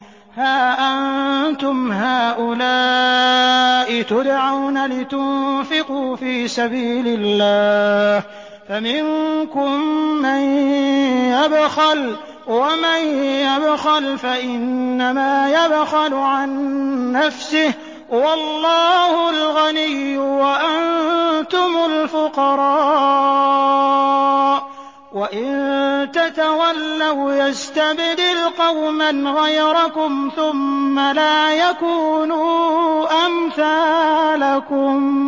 هَا أَنتُمْ هَٰؤُلَاءِ تُدْعَوْنَ لِتُنفِقُوا فِي سَبِيلِ اللَّهِ فَمِنكُم مَّن يَبْخَلُ ۖ وَمَن يَبْخَلْ فَإِنَّمَا يَبْخَلُ عَن نَّفْسِهِ ۚ وَاللَّهُ الْغَنِيُّ وَأَنتُمُ الْفُقَرَاءُ ۚ وَإِن تَتَوَلَّوْا يَسْتَبْدِلْ قَوْمًا غَيْرَكُمْ ثُمَّ لَا يَكُونُوا أَمْثَالَكُم